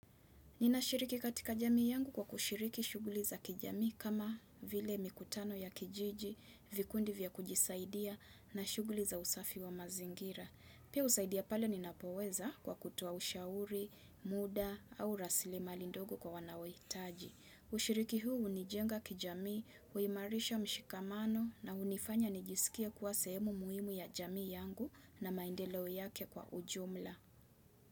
Ninashiriki katika jamii yangu kwa kushiriki shughuli za kijamii kama vile mikutano ya kijiji, vikundi vya kujisaidia na shughuli za usafi wa mazingira. Pia husaidia pale ninapoweza kwa kutoa ushauri, muda au raslimali ndogo kwa wanaohitaji. Ushiriki huu hunijenga kijamii, huimarisha mshikamano na hunifanya nijisikie kuwa sehemu muhimu ya jamii yangu na maendeleo yake kwa ujumla.